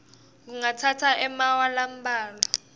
kungatsatsa emaawa lambalwa